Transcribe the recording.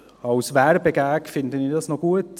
Als Werbegag finde ich dies noch gut.